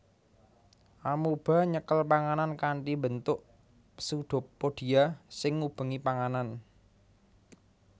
Amoeba nyekel panganan kanthi mbentuk pseudopodia sing ngubengi panganan